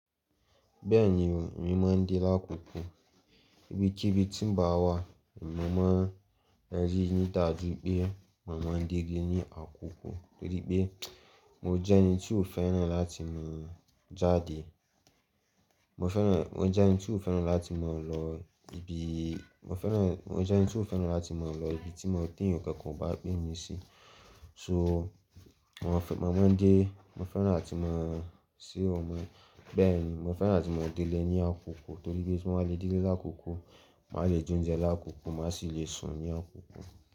Bẹ́ẹ̀ni o, mo mọ ń dirí àkùkú. Bí i tí bí tí ń bá wà, mo mọ ń rí níta ju pé mo mọ ń dirí ní àkùkú torí pé mo jẹ́ ẹni tí ó fẹ́ràn láti máa jáde. Mo fẹ́ràn, mo jẹ́ ẹni tí ó fẹ́ràn láti máa lọ ibi, mo fẹ́ràn, mo jẹ́ ẹni tí ó fẹ́ràn láti máa lọ ibi tí mo dín ǹkan kan bá gbé mi sí. So mo mọ ń dé, mo fẹ́ràn láti máa ṣí ọmọ, bẹ́ẹ̀ni mo fẹ́ràn láti máa délé ní àkùkú torí pé tí mo bá lè dé dé sí àkùkú, màá le jẹ oúnjẹ ní àkùkú, màá sì le sùn ní àkùkú.